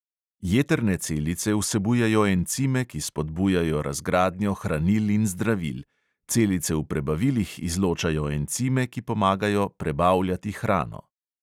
Jetrne celice vsebujejo encime, ki spodbujajo razgradnjo hranil in zdravil; celice v prebavilih izločajo encime, ki pomagajo prebavljati hrano.